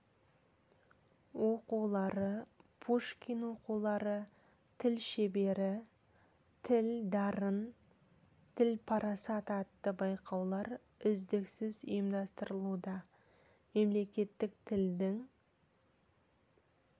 оқулары пушкин оқулары тіл шебері тіл дарын тіл парасат атты байқаулар үздіксіз ұйымдастырылуда мемлекеттік тілдің